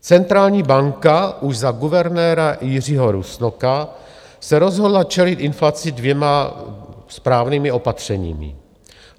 Centrální banka už za guvernéra Jiřího Rusnoka se rozhodla čelit inflaci dvěma správnými opatřeními.